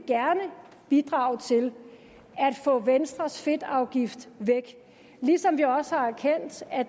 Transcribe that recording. bidrage til at få venstres fedtafgift væk ligesom vi også har erkendt at